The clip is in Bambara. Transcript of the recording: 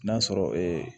N'a sɔrɔ